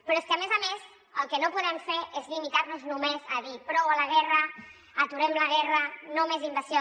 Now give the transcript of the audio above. però és que a més a més el que no podem fer és limitar·nos només a dir prou a la guerra aturem la guerra no més invasió